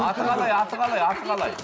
аты қалай аты қалай аты қалай